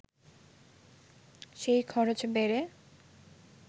সেই খরচ বেড়ে